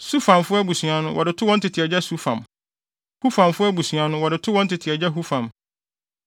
Sufamfo abusua no, wɔde too wɔn tete agya Sufam; Hufamfo abusua no, wɔde too wɔn tete agya Hufam.